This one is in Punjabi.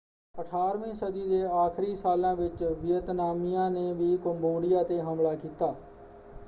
18 ਵੀਂ ਸਦੀ ਦੇ ਆਖਰੀ ਸਾਲਾਂ ਵਿੱਚ ਵੀਅਤਨਾਮੀਆਂ ਨੇ ਵੀ ਕੰਬੋਡੀਆ ‘ਤੇ ਹਮਲਾ ਕੀਤਾ।